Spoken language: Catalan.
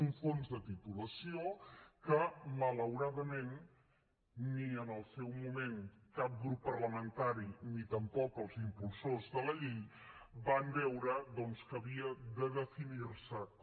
un fons de titulació que malauradament ni en el seu moment cap grup parlamentari ni tampoc els impulsors de la llei van veure doncs que havien de definir se com